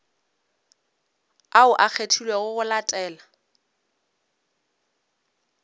ao a kgethilwego go latela